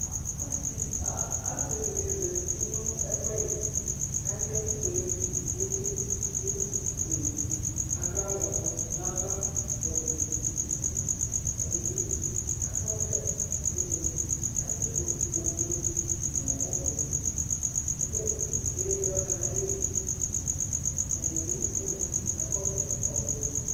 Aasiɖini zeti nʋ ɛfuɛɖi, katsi ɛkʋfuele ɖʋ nʋ ikpete' k'ewu ɖʋkʋ fuele' k'aɖʋ ɔblɔ n'ava kɔvlɛ fuele nʋ uti, ɛɖibi akɔ ɔvlɛ k'atsiɖʋ ofue nʋ ʋblɔ k'eziti ɖʋaɣla n'alɛli, ɛɖibi ozati k'akɔ ɔvlɛ ɔvɛ